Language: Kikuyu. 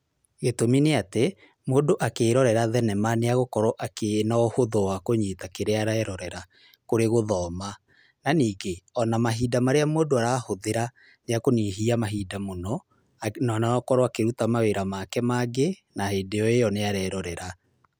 Gĩtũmi nĩ atĩ, mũndũ akĩĩrorera thenema nĩ agũkorwo akĩona ũhũthũ wa kũnyita kĩrĩa arerorera kũrĩ gũthoma. Na ningĩ, ona mahinda marĩa mũndũ arahũthĩra nĩ ekũnyihia mahinda mũno na nokorwo akĩruta mawĩra make mangĩ na hĩndĩ o ĩyo nĩ arerorera.